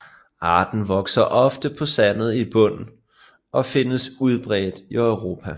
Arten vokser ofte på sandet bund og findes udbredt i Europa